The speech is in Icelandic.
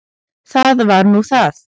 Það var nú það!